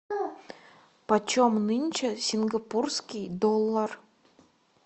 почем нынче сингапурский доллар